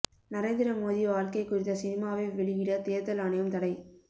நரேந்திர மோதி வாழ்க்கை குறித்த சினிமாவை வெளியிட தேர்தல் ஆணையம் தடை